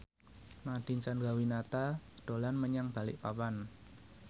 Nadine Chandrawinata dolan menyang Balikpapan